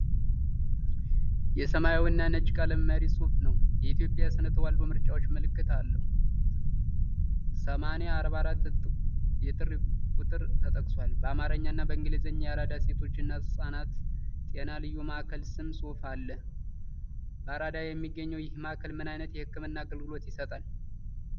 የሰማያዊና ነጭ ቀለም መሪ ጽሑፍ ነው። የኢትዮጵያ የስነ ተዋልዶ ምርጫዎች ምልክት አለው።8044 የጥሪ ቁጥር ተጠቅሷል። በአማርኛ እና በኢንግሊዘኛ የአራዳ ሴቶችና ሕጻናት ጤና ልዩ ማዕከል ስም ጽሑፍ አለ። በአራዳ የሚገኘው ይህ ማዕከል ምን ዓይነት የሕክምና አገልግሎቶችን ይሰጣል?